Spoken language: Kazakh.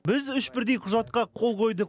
біз үш бірдей құжатқа қол қойдық